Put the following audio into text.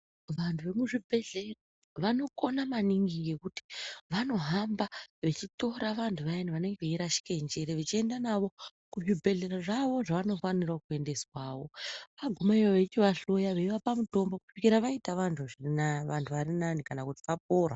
Vantu vemuzvibhedhleya vanokona maningi ngekuti vanohamba vachitora vantu vayani vanenge veirashike njere vechiende navo kuzvibhedhlera zvawo zvavanofanirewo kuendeswawo agumeyo veichivahloya veivapa mutombo kusvika vaita vantu zvirina vari nane kana kuti vapora.